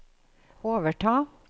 overta